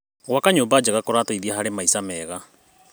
Gwaka nyũmba njega kũrateithia harĩ maica mega.